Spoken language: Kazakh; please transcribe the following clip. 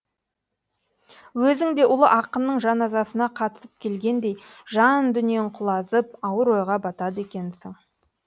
өзің де ұлы ақынның жаназасына қатысып келгендей жан дүниең құлазып ауыр ойға батады екенсің